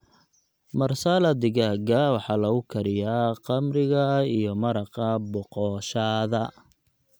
Marsala digaaga waxaa lagu kariyaa khamriga iyo maraqa boqoshaada.